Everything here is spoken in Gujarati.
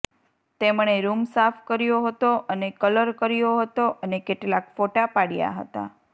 તેમણે રૂમ સાફ કર્યો હતો અને કલર કર્યો હતો અને કેટલાક ફોટા પાડ્યા હતા